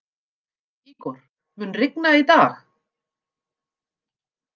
Ígor, mun rigna í dag?